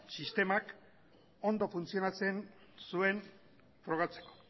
sistemak ondo funtzionatzen zuen probatzeko